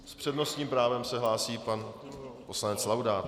S přednostním právem se hlásí pan poslanec Laudát.